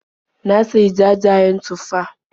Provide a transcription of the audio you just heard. Na sayi jajayen tufah.